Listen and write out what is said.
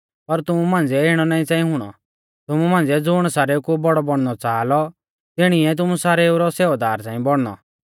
पर तुमु मांझ़िऐ इणौ नाईं च़ांई हुणौ तुमु मांझ़िऐ ज़ुण सारेउ कु बौड़ौ बौणनौ च़ाहा लौ तिणिऐ तुमु सारेउ रौ सेवादार च़ांई बौणनौ